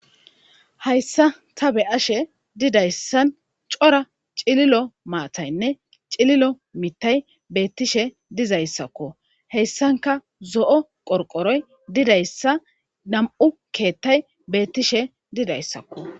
Hayssa ta be ashe didayssan cora cililo maataynne cililo mittay beettishe dizayssakko heyssanka zo'o qorqoroy didayssa dam'u keettay beettishe didayssakko.